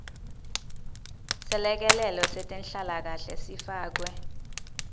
selekelelo setenhlalakanhle sifakwe